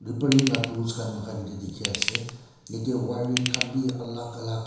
repairing la tools khan muikhan yetey dikhi ase yetey wiring khan bi alak alak.